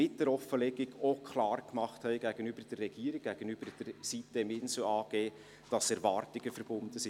Mit der Offenlegung hatten sie denn auch gegenüber der Regierung und der sitem-insel AG klar gemacht, dass Erwartungen damit verbunden sind.